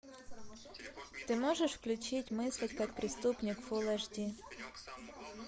ты можешь включить мыслить как преступник фулл эйч ди